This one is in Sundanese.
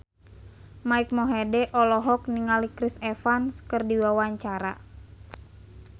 Mike Mohede olohok ningali Chris Evans keur diwawancara